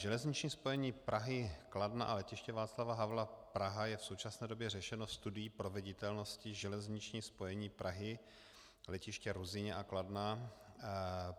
Železniční spojení Prahy, Kladna a Letiště Václava Havla Praha je v současné době řešeno studií proveditelnosti Železniční spojení Prahy, letiště Ruzyně a Kladna.